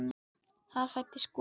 Þar fæddist Gurrý.